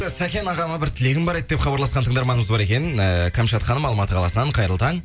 сәкен ағама бір тілегім бар еді деп хабарласқан тыңдарманымыз бар екен ыыы кәмшат ханым алматы қаласынан қайырлы таң